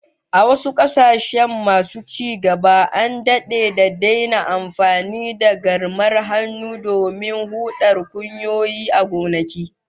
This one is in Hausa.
A wasu kasashen masu ci gaba, an dade da daina amfani da garmar hannun domin hudar kunyoyi a gonaki